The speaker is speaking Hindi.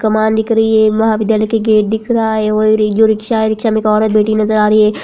कमान दिख रही है महाविद्यालय का गेट दिख रहा है और ये रिक्शा है रिक्शा में एक औरत बैठी नजर आ रही है।